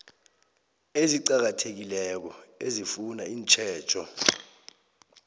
eziqakathekileko ezifuna itjhejo